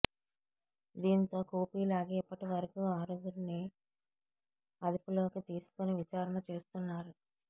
దీంతో కూపీ లాగి ఇప్పటివరకు ఆరుగురిని అదుపలోకి తీసుకుని విచారణ చేస్తున్నారు